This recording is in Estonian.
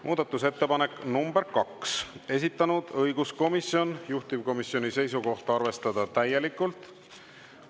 Muudatusettepanek nr 2, esitanud õiguskomisjon, juhtivkomisjoni seisukoht: arvestada täielikult.